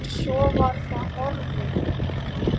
En svo var það horfið.